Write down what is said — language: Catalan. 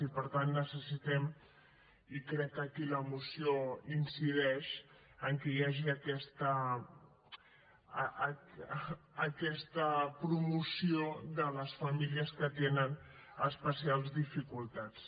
i per tant necessitem i crec que aquí la moció hi incideix que hi hagi aquesta promoció de les famílies que tenen especials dificultats